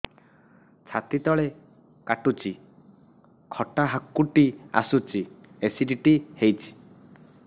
ଛାତି ତଳେ କାଟୁଚି ଖଟା ହାକୁଟି ଆସୁଚି ଏସିଡିଟି ହେଇଚି